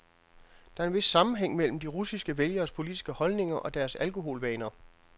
Der er en vis sammenhæng mellem de russiske vælgeres politiske holdninger og deres alkoholvaner.